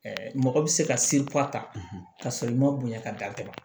mɔgɔ bɛ se ka se ta ka sɔrɔ i ma bonya ka datugu